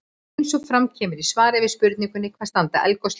Eins og fram kemur í svari við spurningunni Hvað standa eldgos lengi?